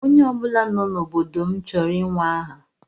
Onye ọ bụla nọ n'obodo m chọrọ inwe aha.